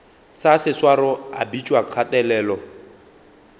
sa seswaro a bitšwa kgatelelo